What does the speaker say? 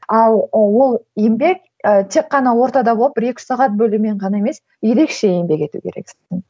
ал ол еңбек ы тек қана ортада болып бір екі үш сағат бөлумен ғана емес ерекше еңбек ету керексің